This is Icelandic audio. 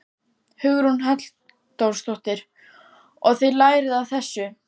Hugrún Halldórsdóttir: Og þið lærið af þessu?